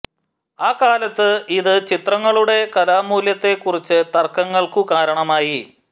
ആ കാലത്ത് ഇത് ചിത്രങ്ങളുടെ കലാമൂല്യത്തെ കുറിച്ച് തർക്കങ്ങൾക്കു കാരണമായി